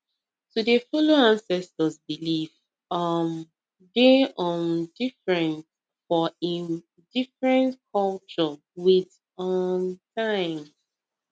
to dey follow ancestors belief um dey um different for em different culture with um time